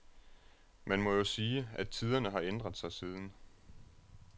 Man må jo sige, at tiderne har ændret sig siden.